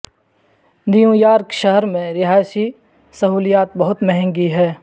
new York میں رہائشی سہولیات بہت مہنگی ہیں